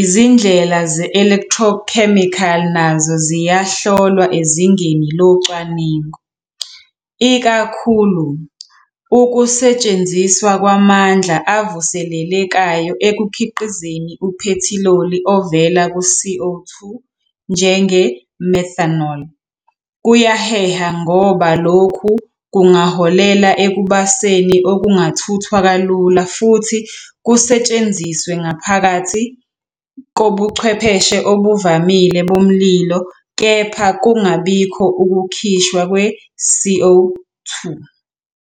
izindlela ze-electrochemical nazo ziyahlolwa ezingeni locwaningo. Ikakhulu, ukusetshenziswa kwamandla avuselelekayo ekukhiqizeni uphethiloli ovela ku-CO 2, njenge-methanol, kuyaheha ngoba lokhu kungaholela ekubaseni okungathuthwa kalula futhi kusetshenziswe ngaphakathi kobuchwepheshe obuvamile bomlilo kepha kungabikho ukukhishwa kwe-CO 2.